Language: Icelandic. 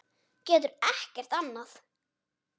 Getur ekkert annað.